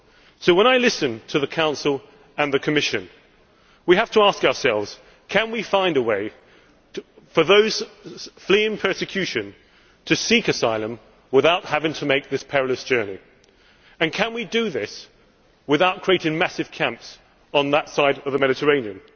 So when listening to the Council and the Commission we have to ask ourselves can we find a way for those fleeing persecution to seek asylum without having to make this perilous journey, and can we do this without creating massive camps on that side of the Mediterranean?